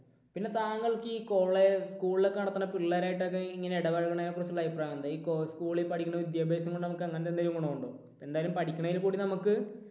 പിന്നെ താങ്കൾക്ക് ഈ കോളേ school ൽ ഒക്കെ പഠിക്കണ പിള്ളേരുമായിട്ട് ഒക്കെ ഇങ്ങനെ ഇടപഴകുന്ന തിനെക്കുറിച്ചുള്ള അഭിപ്രായം എന്താ? school ൽ പഠിക്കുന്ന വിദ്യാഭ്യാസം കൊണ്ട് നമുക്ക് അങ്ങനെ എന്തെങ്കിലും ഗുണം ഉണ്ടോ? എന്തായാലും പഠിക്കുന്നതിൽ കൂടി നമുക്ക്